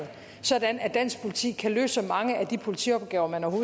sådan at dansk politi kan løse så mange af de politiopgaver man